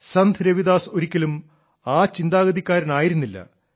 സന്ത് രവിദാസ് ഒരിക്കലും ആ ചിന്താഗതിക്കാരനായിരുന്നില്ല